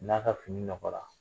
N'a ka fini nɔgɔ la.